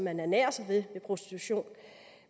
ernærer sig ved prostitution